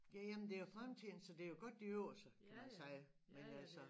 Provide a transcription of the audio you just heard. Ja ja men det jo fremtidne så det jo godt de øver sig kan man sige men altså